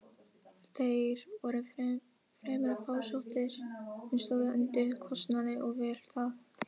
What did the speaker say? Þeir voru fremur fásóttir, en stóðu undir kostnaði og vel það.